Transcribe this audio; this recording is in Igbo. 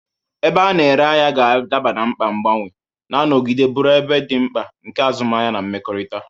Ebe a na-ere ahịa ga-adaba na mkpa mgbanwe, na-anọgide bụrụ ebe dị mkpa nke azụmahịa na mmekọrịta.